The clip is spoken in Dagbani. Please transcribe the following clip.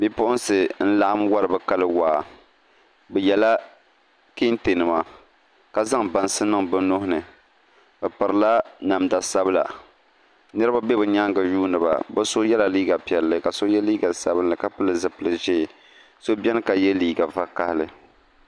Bipuɣunsi n laɣam wori bi kali waa bi yɛla kɛntɛ nima ka zaŋ bansi niŋ bi nuhini bi pirila namda sabila niraba bɛ bi nyaangu yundiba bi so yɛla liiga piɛlli ka so yɛ liiga sabinli ka pili zipili ʒiɛ so biɛni ka yɛ liiga vakaɣali